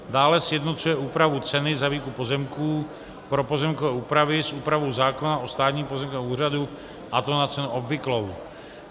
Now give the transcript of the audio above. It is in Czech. Dále, sjednocuje úpravu ceny za výkup pozemků pro pozemkové úpravy s úpravou zákona o státním pozemkovém úřadu, a to na cenu obvyklou.